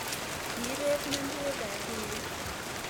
Kiibet mentgwet emg tuiyet